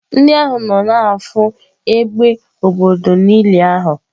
Ndị ahụ nọ na-afụ égbè obodo n'ili ahụ.